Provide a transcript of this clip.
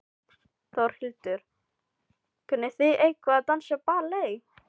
Þórhildur: Kunnið þið eitthvað að dansa ballett?